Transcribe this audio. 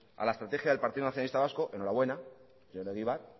a la estrategia del partido nacionalista vasco enhorabuena señor egibar